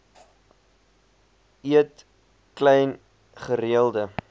eet klein gereelde